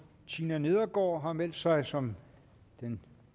tina nedergaard har meldt sig som den